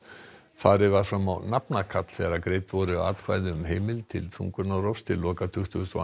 farið var fram á nafnakall þegar greidd voru atkvæði um heimild til þungunarrofs til loka tuttugustu og